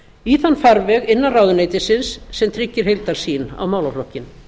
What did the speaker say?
í þann farveg innan ráðuneytisins sem tryggir heildarsýn á málaflokkinn